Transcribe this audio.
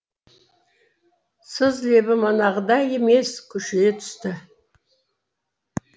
сыз лебі манағыдай емес күшейе түсті